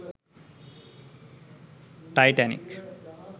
titanic